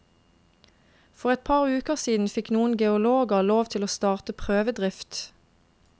For et par uker siden fikk noen geologer lov til å starte prøvedrift.